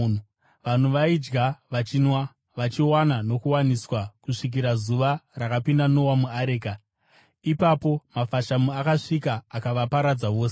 Vanhu vaidya, vachinwa, vachiwana nokuwaniswa kusvikira zuva rakapinda Noa muareka. Ipapo mafashamu akasvika akavaparadza vose.